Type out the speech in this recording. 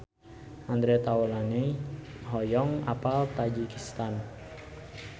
Andre Taulany hoyong apal Tajikistan